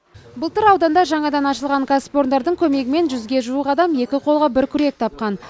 былтыр ауданда жаңадан ашылған кәсіпорындардың көмегімен жүзге жуық адам екі қолға бір күрек тапқан